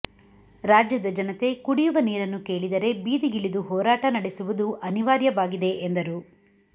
ರಾಜ್ಯದ ಜನತೆ ಕುಡಿಯುವ ನೀರಿನ್ನು ಕೇಳಿದರೆ ಬೀದಿಗಿಳಿದು ಹೋರಾಟ ನಡೆಸುವುದು ಅನಿವಾರ್ಯವಾಗಿದೆ ಎಂದರು